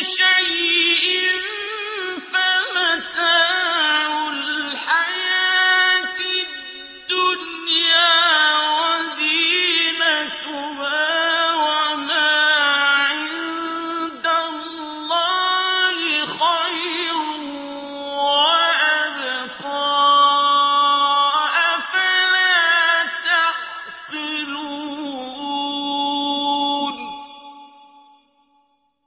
شَيْءٍ فَمَتَاعُ الْحَيَاةِ الدُّنْيَا وَزِينَتُهَا ۚ وَمَا عِندَ اللَّهِ خَيْرٌ وَأَبْقَىٰ ۚ أَفَلَا تَعْقِلُونَ